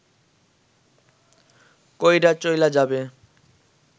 কইরা চইলা যাবে